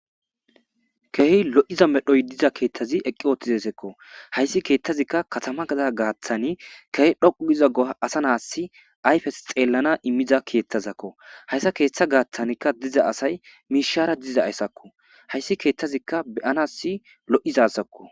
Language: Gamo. Kehi lo'iza medhoy diza keetthazi eqqi ooththizesekko hayssi keethtazikka katama gada gaaththani kehe dhoqu giza goa asa naas ayfes xeellana immiza keethtazakko hayssa keeththa gaaththankka diza asay miishara diza ayssakko hayssi keettazikka beyanas lo'izasakko.